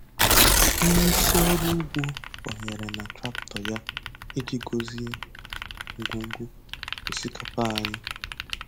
Onye isi ọrụ ugbo banyere na traktọ ya iji gọzie ngwugwu osikapa anyị.